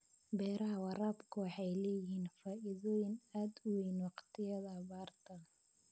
Beeraha waraabku waxay leeyihiin faa'iidooyin aad u weyn waqtiyada abaarta.